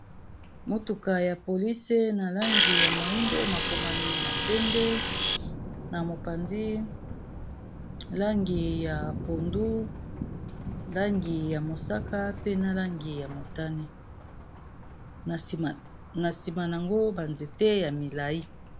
motuka ya police na langi ya moindo ,makomami na pembe na mopanzi langi ya pondu, langi ya mosaka pe na langi ya motani na sima yango banzete ya milai.